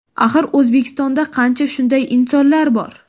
Axir O‘zbekistonda qancha shunday insonlar bor.